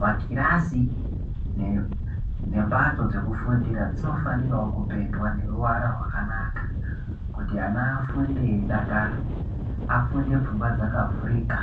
Makirasi ngembatso dzekufundira dzinofanirawo kupendwa neruwara rwakanaka kuti ana afunde eidakara, afunde pfungwa dzakavhurika